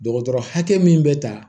Dɔgɔtɔrɔ hakɛ min bɛ ta